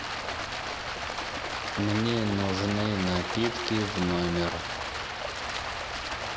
мне нужны напитки в номер